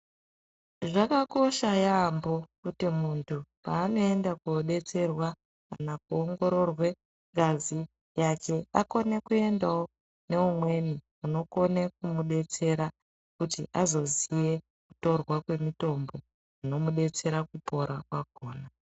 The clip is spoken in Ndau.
Zvakakosha yaambo kuti muntu paanoenda kodetserwa kana kuongororwa ngazi yake akone kuendawo neumweni unokone kumudetsera kuti azoziye kutorwa kwemitombo inomudetsere kupora kwakhona.